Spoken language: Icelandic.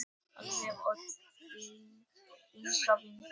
Alltaf og til enda veraldar.